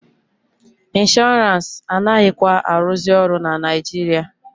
Inshọrance anaghịkwa arụzị ọrụ na Naijiria.